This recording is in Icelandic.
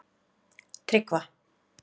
Tryggva